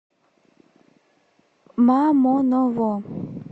мамоново